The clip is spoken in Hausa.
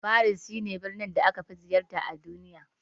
Faris shi ne birnin da aka fi ziyarta a duniya